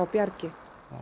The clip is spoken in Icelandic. Bjargi